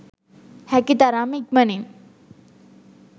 හැකි තරම් ඉක්මනින්